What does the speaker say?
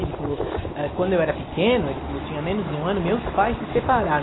Ele falou, ah, quando eu era pequeno, ele falou, eu tinha menos de um ano, meus pais se separaram.